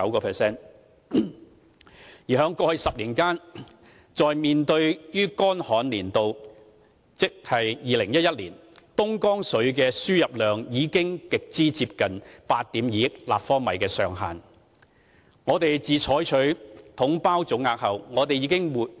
回顧過去10年間，在乾旱的2011年，東江水的輸入量已經極為接近8億 2,000 萬立方米上限。我們自採取"統包總額"後，已